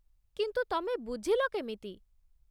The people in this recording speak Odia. କିନ୍ତୁ ତମେ ବୁଝିଲ କେମିତି ?